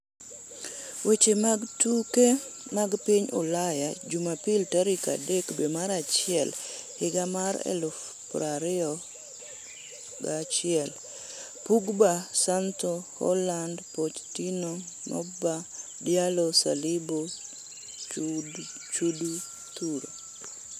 Weche mag tuke mag piny Ulaya jumapil tarik 03.01.2021: Pogba, Sancho, Haaland, Pochettino, Mbappe, Diallo, Saliba, Choudhury